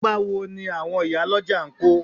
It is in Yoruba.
Ipa wo ni àwọn ìyálọ́jà ń kó?